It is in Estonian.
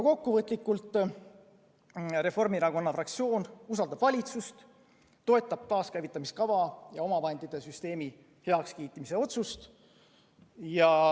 Kokkuvõtlikult: Reformierakonna fraktsioon usaldab valitsust, toetab taaskäivitamise kava ja omavahendite süsteemi heakskiitmise otsust.